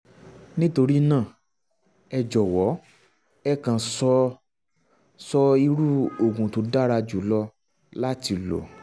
nítorí náà ẹ jọ̀wọ́ ẹ kàn sọ sọ irú oògùn tó dára jùlọ láti lò